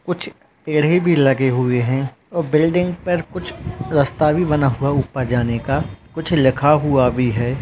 कुछ पेढ़े भी लगे हुए है और बिल्डिंग पर कुछ रस्ता भी बना हुआ ऊपर जाने का कुछ लिखा हुआ भी है।